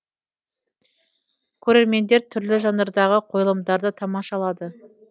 көрермендер түрлі жанрдағы қойылымдарды тамашалады